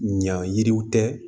Ɲa yiriw tɛ